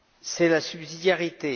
C'est la subsidiarité.